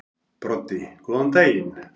Broddi: Góðan daginn.